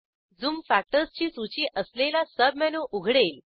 zoom factorsची सूची असलेला सबमेनू उघडेल